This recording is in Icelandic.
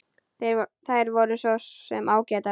Þær voru svo sem ágætar.